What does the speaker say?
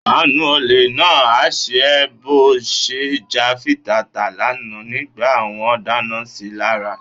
Àánú olè náà á ṣe ẹ́ bó ṣe ń jà fitata lánàá nígbà wọ́n dáná si lára.